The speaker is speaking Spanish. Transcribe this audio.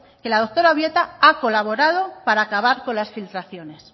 que la doctora obieta ha colaborado para acabar con las filtraciones